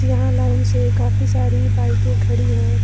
यहां लाइन से काफी सारी बाइके खड़ी है।